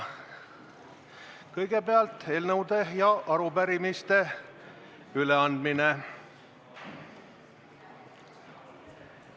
Kõigepealt eelnõude ja arupärimiste üleandmine.